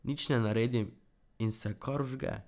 Nič ne naredim in se kar vžge.